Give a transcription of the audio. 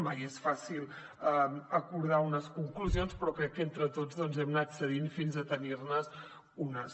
mai és fàcil acordar unes conclusions però crec que entre tots hem anat cedint fins a tenir ne unes